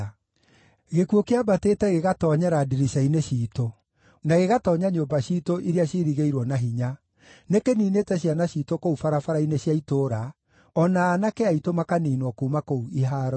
Gĩkuũ kĩambatĩte gĩgaatoonyera ndirica-inĩ ciitũ, na gĩgatoonya nyũmba ciitũ iria ciirigĩirwo na hinya, nĩkĩniinĩte ciana ciitũ kũu barabara-inĩ cia itũũra, o na aanake aitũ makaniinwo kuuma kũu ihaaro-inĩ.